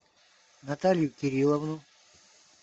наталью кирилловну